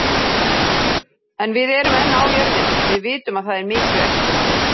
En við erum enn á jörðinni. Við vitum að það er mikið eftir.